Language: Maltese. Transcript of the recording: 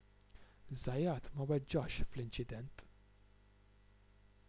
zayat ma weġġax fl-inċident